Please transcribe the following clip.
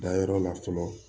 Dayɔrɔ la fɔlɔ